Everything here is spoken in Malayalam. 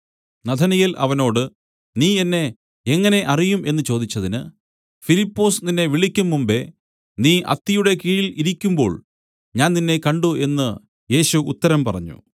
നഥനയേൽ അവനോട് നീ എന്നെ എങ്ങനെ അറിയും എന്നു ചോദിച്ചതിന് ഫിലിപ്പൊസ് നിന്നെ വിളിക്കുംമുമ്പെ നീ അത്തിയുടെ കീഴിൽ ഇരിക്കുമ്പോൾ ഞാൻ നിന്നെ കണ്ട് എന്നു യേശു ഉത്തരം പറഞ്ഞു